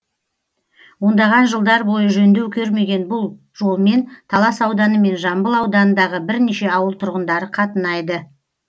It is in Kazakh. ондаған жылдар бойы жөндеу көрмеген бұл жолмен талас ауданы мен жамбыл ауданындағы бірнеше ауыл тұрғындары қатынайды